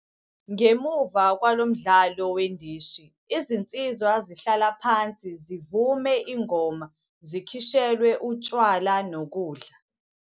Ngemuva kwalo mdlalo wendishi izinsizwa zihlala phansi zivume ingoma zikhishelwe utshwala nokudla.